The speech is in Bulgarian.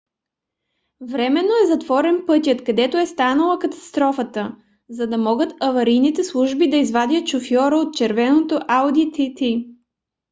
временно е затворен пътят където е станала катастрофата за да могат аварийните служби да извадят шофьора от червеното ауди тт